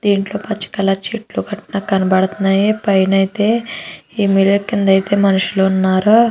దీంట్లో పచ్చకలర్ చెట్లు కట్ట కనబడుతున్నాయి. పైన అయితే ఏమి లేదు కింద అయితే మనుషులు ఉన్నారు.